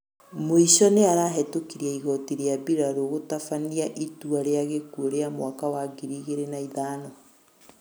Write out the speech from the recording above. muĩco nĩarahĩtũkĩrĩe ĩgotĩ rĩa bĩrarũ gũtabanĩa ĩtũa rĩa gĩkũo rĩa mwaka wa ngĩrĩ ĩgĩrĩ na ĩthano